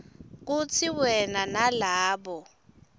kutsi wena nalabo